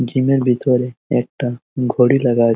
gym ভিতরে একটা ঘড়ি লাগা আ--